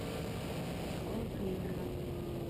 открой геймера